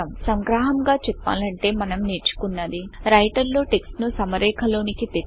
సంగ్రహముగా చెప్పాలంటే మనం నేర్చుకున్నది రైటర్ లో టెక్స్ట్ ను సమరేఖలోనికి తెచ్చుట